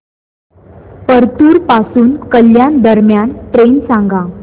परतूर पासून कल्याण दरम्यान ट्रेन सांगा